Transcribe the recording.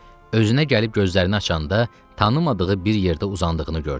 Özünə gəlib gözlərini açanda tanımadığı bir yerdə uzandığını gördü.